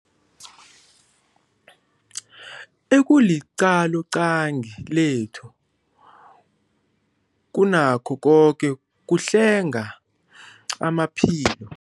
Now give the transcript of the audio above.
Ekuliqaloqangi lethu kunakho koke kuhlenga amaphilo.